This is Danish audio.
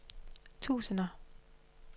tusinder